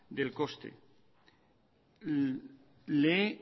del coste le he